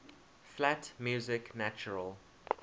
flat music natural